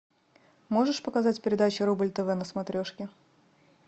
можешь показать передачу рубль тв на смотрешке